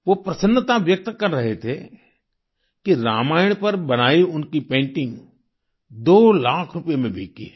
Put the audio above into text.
वो प्रसन्नता व्यक्त कर रहे थे कि रामायण पर बनाई उनकी पेंटिंग दो लाख रुपये में बिकी है